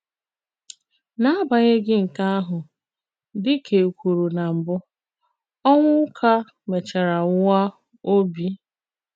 N'agbanyeghị nkè àhụ, dị kà è kwùrù nà mbụ, Onwuka mèchàrà nwụà òbì.